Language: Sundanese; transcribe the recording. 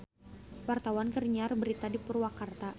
Wartawan keur nyiar berita di Purwakarta